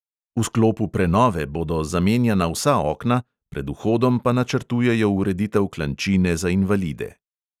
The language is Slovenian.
V sklopu prenove bodo zamenjana vsa okna, pred vhodom pa načrtujejo ureditev klančine za invalide.